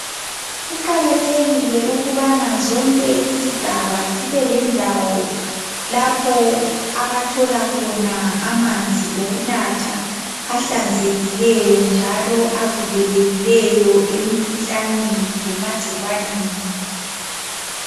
Kuqakathekile ukubana zonke izigaba zibe lendawo lapho abathola khona amanzi okunantha ahlanzekileyo njalo avikelekileyo emikhuhlaneni lemagcikwaneni.